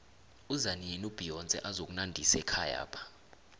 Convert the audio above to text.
izanini ubeyonce azokunandisa ekhayapha